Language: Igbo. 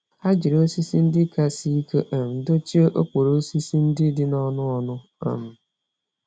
Ha jiri osisi ndị ka sie ike um dochie okporo osisi ndị dị n'ọnụ ọnụ. um